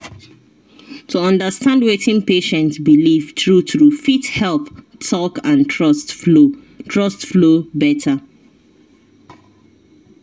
to understand wetin patient believe true true fit help talk and trust flow trust flow better.